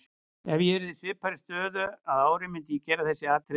Ef ég yrði í svipaðri stöðu að ári myndi ég gera þessi atriði aftur.